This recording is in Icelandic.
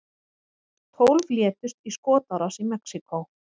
Tólf létust í skotárás í Mexíkó